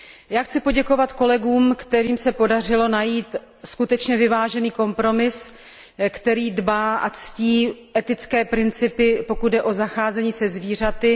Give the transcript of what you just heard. Já chci poděkovat kolegům, kterým se podařilo najít skutečně vyvážený kompromis, který dbá a ctí etické principy, pokud jde o zacházení se zvířaty.